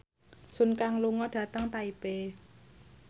Sun Kang lunga dhateng Taipei